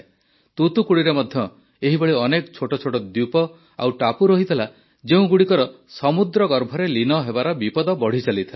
ତୁତୁକୁଡ଼ିରେ ମଧ୍ୟ ଏଭଳି ଅନେକ ଛୋଟ ଛୋଟ ଦ୍ୱୀପ ଓ ଟାପୁ ରହିଥିଲା ଯେଉଁଗୁଡ଼ିକର ସମୁଦ୍ରଗର୍ଭରେ ଲୀନ ହେବାର ବିପଦ ବଢ଼ିଚାଲିଥିଲା